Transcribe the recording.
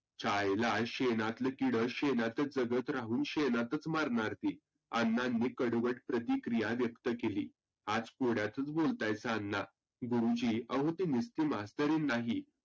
च्यायला शेनातलं किड शेनातच राहुन शेनातचं मरनार की. अण्णांनी कडवट प्रतिक्रीया व्यक्त केली. आज कोड्यातचं बोलतायसा अण्णा. गुरुजी आहो ती तुस्ती मस्तरीन नाही